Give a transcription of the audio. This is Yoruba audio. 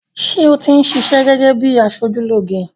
Sé oní ṣiṣẹ́ gẹ́gẹ́ bíi aṣojúlóge?